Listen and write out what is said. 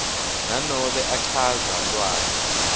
nanobe achaza lwati